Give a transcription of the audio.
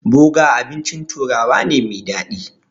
Boga abincin turawa ne mai daɗi.